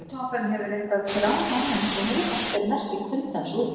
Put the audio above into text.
Hökutoppurinn hefur reyndar gránað aðeins og húð hans ber merki kuldans úti.